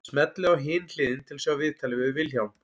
Smellið á Hin hliðin til að sjá viðtalið við Vilhjálm.